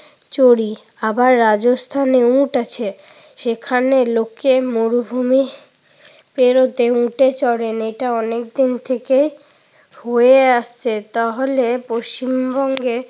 চড়ি। আবার রাজস্থানে উট আছে। সেখানে লোকে মরুভূমি পেরুতে উটে চড়েন, এটা অনেকদিন থেকে হয়ে আসছে। তাহলে পশ্চিম বঙ্গে